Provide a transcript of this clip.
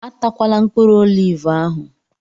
Atakwala mkpụrụ olivu ahụ!